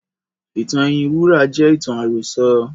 Ìtàn ẹyin wúrà jẹ́ ìtàn àròsọ.